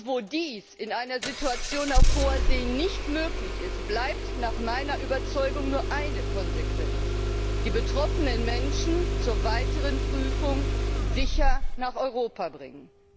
Wo dies in einer Situation auf Hoher See nicht möglich ist, bleibt nach meiner Überzeugung nur eine Konsequenz die betroffenen Menschen zur weiteren Prüfung sicher nach Europa bringen.